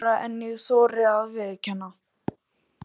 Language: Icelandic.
Lægra en ég þori að viðurkenna.